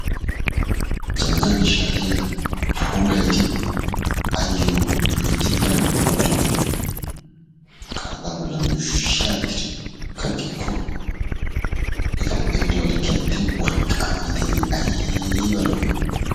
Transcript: Jabaananne shaatiya puulayidi ayo loytti meran medhdhidoogaan qarxxaa bollan yuushshi aattidi kaqqikko yaa xeelliyode keettay worqqaa malatiyaagee aybba lo'ii.